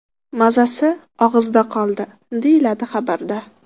Mazasi og‘izda qoldi”, – deyiladi xabarda.